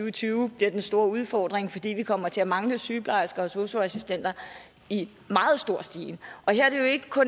og tyve bliver den store udfordring fordi vi kommer til at mangle sygeplejersker og sosu assistenter i meget stor stil og her er det jo ikke